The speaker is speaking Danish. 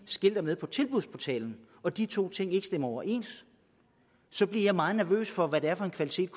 skilter med på tilbudsportalen og de to ting ikke stemmer overens så bliver jeg meget nervøs for hvad det er for en kvalitet